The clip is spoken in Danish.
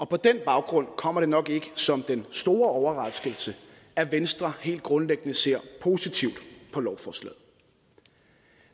på den baggrund kommer det nok ikke som den store overraskelse at venstre helt grundlæggende ser positivt på lovforslaget